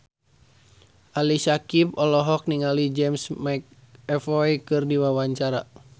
Ali Syakieb olohok ningali James McAvoy keur diwawancara